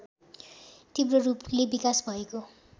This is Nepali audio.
तीव्ररूपले विकास भएको